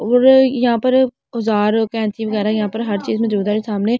और यहां पर औजार कैची वगैरा यहां पर हर चीज में सामने एक आदमी।